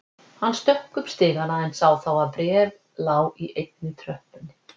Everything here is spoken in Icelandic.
Hann stökk upp stigana en sá þá að bréf lá í einni tröppunni.